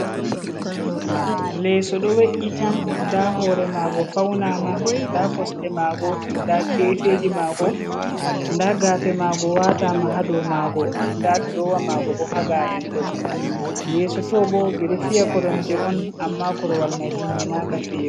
Leso ɗo we’’iti, nda hore Mago faunama. nda Kosɗe Mago nda gafeji mago, nda gafe mago watama ha dou Mago. nda durowa mago bo ha ga’en ɗo. Yeso to bo ɓe ɗo fiya koromje'on amma Korwal mai timminaka fiyego.